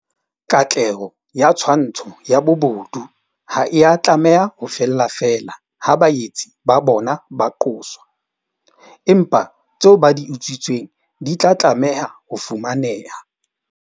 Katleho ya twantsho ya bobodu ha ea tlameha ho fella feela ha baetsi ba bona ba qoswa, empa tseo ba di utswitseng di tla tlameha ho fumaneha.